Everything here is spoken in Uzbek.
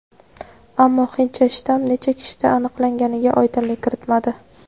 Ammo "hindcha" shtamm necha kishida aniqlanganiga oydinlik kiritmadi.